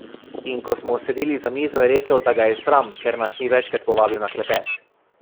In ko smo sedeli za mizo, je rekel, da ga je sram, ker nas ni večkrat povabil na klepet.